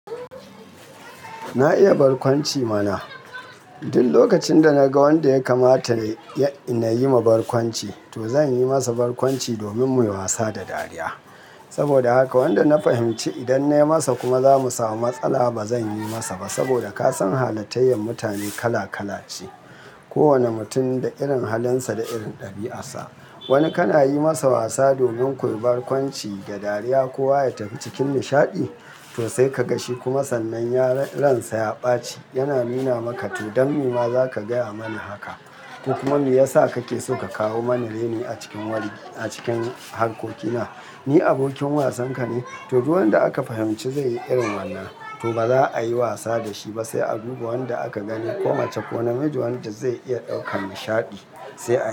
Na iya barkwanci mana. Duk lokacin da naga wanda ya kamata na yi ma barkwanci, to zan yi masa barkwanci domin mu yi wasa da dariya. Saboda haka wanda na fahimci idan na yi masa kuma za mu samu matsala, ba zan yi masa ba. Saboda ka san halattayen mutane kala kala ce. Kowane mutum da irin halinsa da irin ɗabi'arsa. Wani kana yi masa wasa domin ku yi barkwanci da dariya ko ya tafi cikin nishaɗi, to sai ka ga shi kuma sannan ya ransa ya ɓaci, yana nuna maka, "to don me ma za ka gaya mani haka?" Ko kuma, "me yasa kake so ka kawo mani raini a cikin wargi, a cikin harkokina? Ni abokin wasanka ne?" To, duk wanda aka fahimci zai yi irin wannan, to ba za a yi wasa da shi ba, sai a duba wanda aka gani ko mace ko namiji wanda zai iya ɗaukan nishaɗi sai a.